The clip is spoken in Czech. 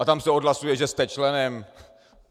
A tam se odhlasuje, že jste členem...